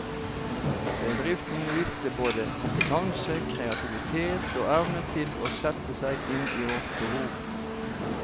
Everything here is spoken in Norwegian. Bedriften viste både kompetanse, kreativitet og evne til å sette seg inn i vårt behov.